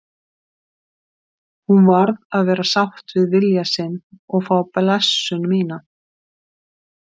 Hún varð að vera sátt við vilja sinn og fá blessun mína.